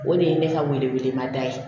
O de ye ne ka welemada ye